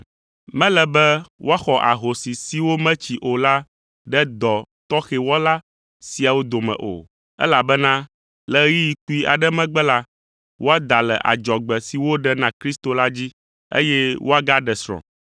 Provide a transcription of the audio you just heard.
Mele be woaxɔ ahosi siwo metsi o la ɖe dɔ tɔxɛ wɔla siawo dome o, elabena le ɣeyiɣi kpui aɖe megbe la, woada le adzɔgbe si woɖe na Kristo la dzi, eye woagaɖe srɔ̃.